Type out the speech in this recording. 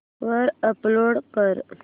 वर अपलोड कर